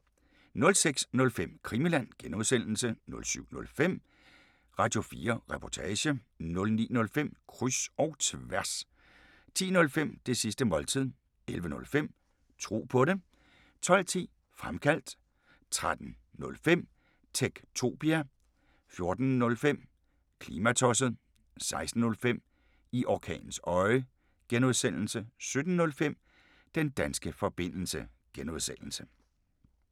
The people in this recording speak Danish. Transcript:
06:05: Krimiland (G) 07:05: Radio4 Reportage 09:05: Kryds og tværs 10:05: Det sidste måltid 11:05: Tro på det 12:10: Fremkaldt 13:05: Techtopia 14:05: Klimatosset 16:05: I orkanens øje (G) 17:05: Den danske forbindelse (G)